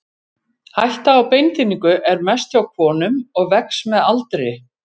Hætta á beinþynningu er mest hjá konum og vex með aldri.